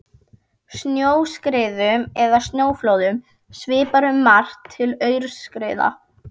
Snjóskriðum eða snjóflóðum svipar um margt til aurskriðna.